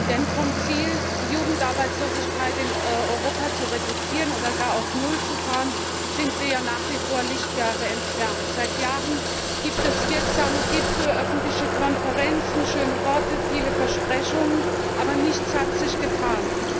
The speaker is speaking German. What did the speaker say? Denn vom Ziel, die Jugendarbeitslosigkeit in Europa zu reduzieren oder gar auf null zu fahren, sind wir ja nach wie vor Lichtjahre entfernt. Seit Jahren gibt es wirksame Gipfel, öffentliche Konferenzen, schöne Worte, viele Versprechungen aber nichts hat sich getan.